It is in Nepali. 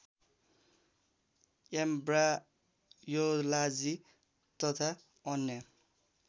एँब्रायोलाजी तथा अन्य